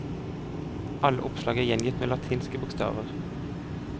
Alle oppslag er gjengitt med latinske bokstaver.